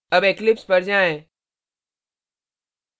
अब eclipse पर जाएँ